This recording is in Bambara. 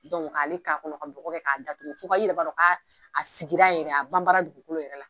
k'ale ka kɔnɔ, ka bɔgɔ kɛ ka da tugu i yɛrɛ b'a don ka sigira yɛrɛ a ban ban la dugukolo yɛrɛ la.